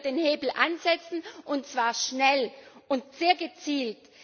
Da können wir den Hebel ansetzen, und zwar schnell und sehr gezielt.